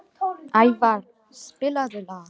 Ævarr, spilaðu lag.